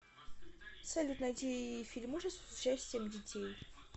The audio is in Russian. салют найди фильм ужасов с участием детей